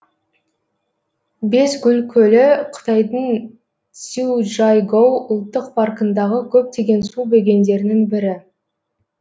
бес гүл көлі қытайдың цзючжайгоу ұлттық паркындағы көптеген су бөгендерінің бірі